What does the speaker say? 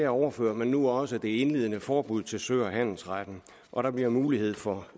overfører man nu også det indledende forbud til sø og handelsretten og der bliver mulighed for